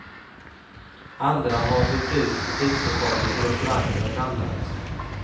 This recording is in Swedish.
Andra har hyrt ut butikslokalen till restauranger och annat.